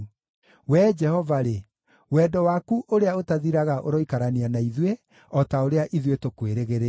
Wee Jehova-rĩ, wendo waku ũrĩa ũtathiraga ũroikarania na ithuĩ, o ta ũrĩa ithuĩ tũkwĩrĩgĩrĩire.